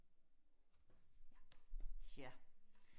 ja ja